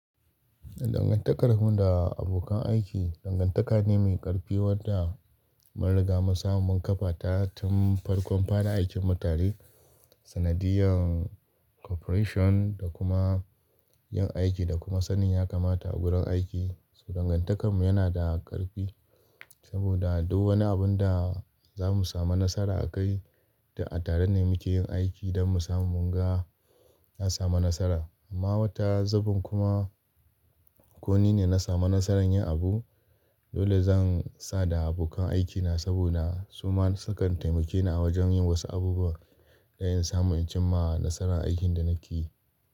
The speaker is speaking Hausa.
Dangantakar mu da abokan aiki, dangantaka ne mai ƙarfi wadda mun riga mun samu mun kafa ta tun farkon fara aikin mu tare. Sanadiyan corporation da kuma yin aiki da kuma sanin ya kamata a gurin aiki, so dangantakar mu yana da ƙarfi saboda duk wani abun da za mu samu nasara a kai, to a tare ne muke yin aiki don mu samu mu ga, an samu nasara. Amma wata zubin kuma, ku ni ne na samu nasarar yin abu, dole zan sa da abokan aikina saboda su ma su kan taimake ni a wajen yin wasu abubuwa da yin samu in cimma nasarar aikin da nake yi.